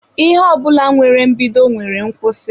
Ihe ọ bụla nwere mbido nwere nkwụsị.